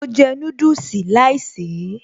Mo jẹ́ núdùsì láìsèé